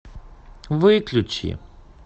выключи